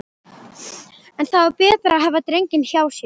En það var betra að hafa drenginn hjá sér.